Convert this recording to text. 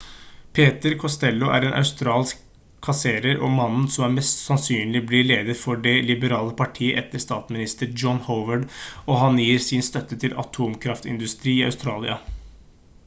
peter costello er en australsk kasserer og mannen som mest sannsynlig blir leder for det liberale partiet etter statsminister john howard og han gir sin støtte til en atomkraftindustri i australia